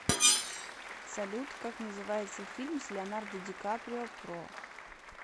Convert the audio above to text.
салют как называется фильм с леонардо ди каприо про